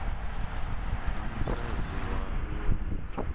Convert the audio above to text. na musadzi wa muṅwe muthu